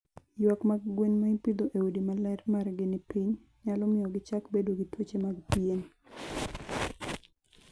Ywak mag gwen ma ipidho e udi ma ler margi ni piny, nyalo miyo gichak bedo gi tuoche mag pien.